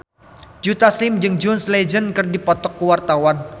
Joe Taslim jeung John Legend keur dipoto ku wartawan